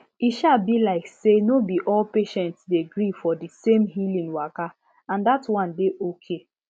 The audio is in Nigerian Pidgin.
e um be like say no be all patients dey gree for di same healing waka and dat one dey okay